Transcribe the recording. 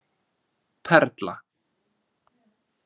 Perla